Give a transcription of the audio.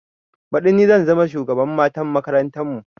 Baɗi ni zan zama shugaban matan makarantar mu